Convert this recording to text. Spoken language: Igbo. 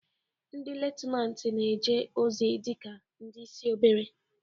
Ndị Lutenatin na-eje ozi dị ka ndị isi obere.